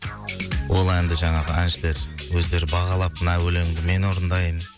ол әнді жаңағы әншілер өздері бағалап мына өлеңді мен орындайын